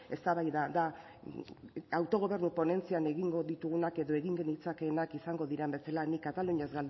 eztabaida da autogobernu ponentzian egingo ditugunak edo egin genitzakeenak izango diren bezala nik kataluniaz